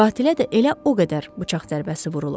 Qatilə də elə o qədər bıçaq zərbəsi vurulub.